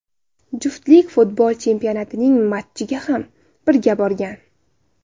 Juftlik futbol chempionatining matchiga ham birga borgan.